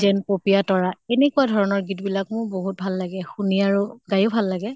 যেন পপিয়া তৰা, এনেকুৱা ধৰণৰ গীত বিলাক মোৰ বহুত ভাল লাগে । শুনি আৰু গাই য়ো ভাল লাগে ।